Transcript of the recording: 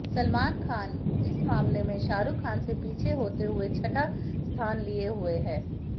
सलमान खान इस मामले मे शाहरुख से पीछे होते हुए छठा स्थान लिए हुए हैं